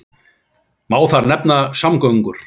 Má þar nefna samgöngur.